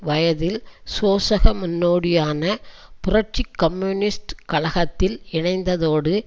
வயதில் சோசக முன்னோடியான புரட்சி கம்யூனிஸ்ட் கழகத்தில் இணைந்ததோடு